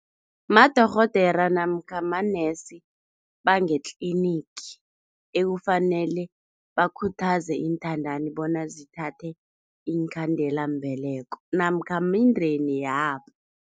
Madorhodera namkha manesi bangetlinigi ekufanele bakhuthaze inthandani bona zithathe iinkhandelambeleko namkha mindeni yabo.